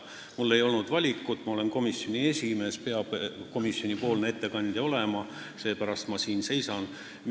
Mul ei olnud valikut – ma olen komisjoni esimees ja komisjoni ettekandja peab olema, seepärast ma siin seisan.